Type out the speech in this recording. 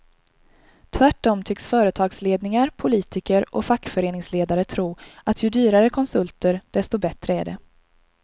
Tvärtom tycks företagsledningar, politiker och fackföreningsledare tro att ju dyrare konsulter desto bättre är det.